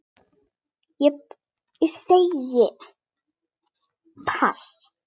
Ég segi pass.